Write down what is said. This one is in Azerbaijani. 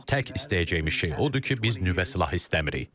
Tək istəyəcəyimiz şey odur ki, biz nüvə silahı istəmirik.